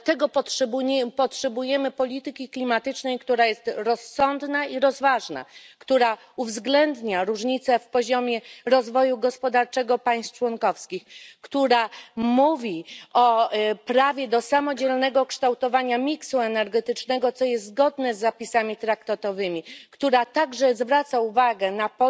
Dlatego potrzebujemy polityki klimatycznej, która jest rozsądna i rozważna, która uwzględnia różnice w poziomie rozwoju gospodarczego państw członkowskich, która mówi o prawie do samodzielnego kształtowania miksu energetycznego, co jest zgodne z zapisami traktatowym, która zwraca także uwagę na